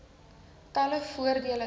talle voordele inhou